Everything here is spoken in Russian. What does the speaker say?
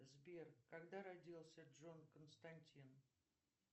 сбер когда родился джон константин